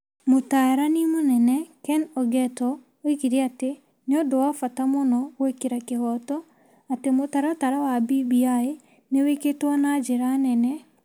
Mũtaarani Mũnene Ken Ogeto oigire atĩ nĩ ũndũ wa bata mũno gwĩkĩra kĩhooto atĩ mũtaratara wa BBI nĩ wĩkĩtwo na njĩra nene,